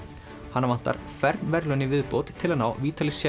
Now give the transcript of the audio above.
hana vantar fern verðlaun í viðbót til að ná